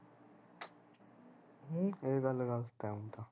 ਹਮ ਏਹ ਗੱਲ ਗਲਤ ਉ ਤਾਂ